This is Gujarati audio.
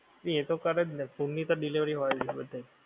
તે એતો કરેજને food ની તો delivery હોય જ બધે.